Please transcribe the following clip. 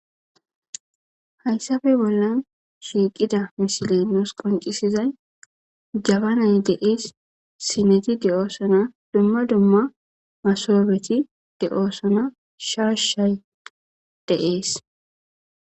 Hayisappe bollan shiqidi misile nusi qoncci,sidayi jabanayi de,ees sineti de, osona duma duma masoneti de, osona shashayi de,ees